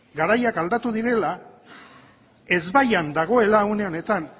garaiak aldatu direla ezbaian dagoela une honetan